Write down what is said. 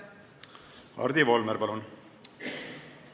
Hardi Volmer, palun!